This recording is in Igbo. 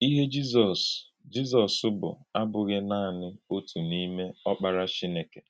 Íhè Jízọs Jízọs bụ̀ àbụ̀ghị nanị òtù n’ímè “Ọ́kpárá Chínèkè.”